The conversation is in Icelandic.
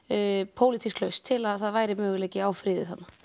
pólitísk lausn til að það væri möguleiki á friði þarna